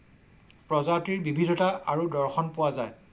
প্ৰজাতিৰ বিবিধতা আৰু দৰ্শন পোৱা যায়।